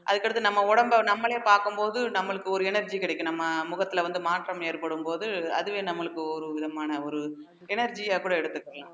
அதுக்கு அடுத்து நம்ம உடம்ப நம்மளே பார்க்கும் போது நம்மளுக்கு ஒரு energy கிடைக்கும் நம்ம முகத்துல வந்து மாற்றம் ஏற்படும்போது அதுவே நம்மளுக்கு ஒரு விதமான ஒரு energy யா கூட எடுத்துக்கலாம்